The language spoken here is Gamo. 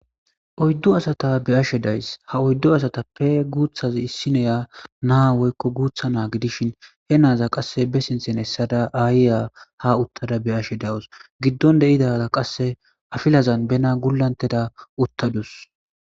Oyddu asata beyashe days ha oyddu asatappe guuthazi issineya naa woykko guutha naa gidishin he naaza qasse be sinthen hessada aayiya ha uttada be ashe dawus giddon deidaa qasse afilazan bena gulanteda uttadus.